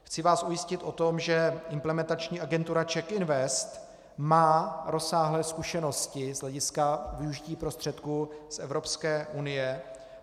Chci vás ujistit o tom, že implementační agentura CzechInvest má rozsáhlé zkušenosti z hlediska využití prostředků z Evropské unie.